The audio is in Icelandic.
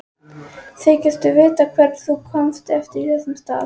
Þykistu vita hver kom þessu af stað?